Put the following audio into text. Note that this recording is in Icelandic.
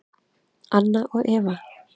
Anna og Eva.